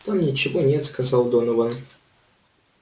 там ничего нет сказал донован